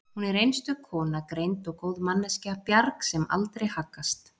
Hún er einstök kona, greind og góð manneskja, bjarg sem aldrei haggast